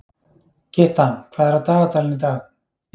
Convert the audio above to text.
Gytta, hvað er á dagatalinu í dag?